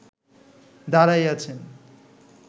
দাঁড়াইয়াছেন